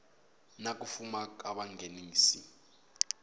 na ku fuma ka vanghenisi